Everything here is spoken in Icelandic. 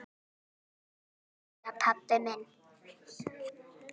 Jæja, pabbi minn.